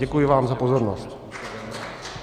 Děkuji vám za pozornost.